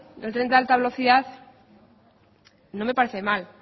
el tren de alta velocidad no me parece mal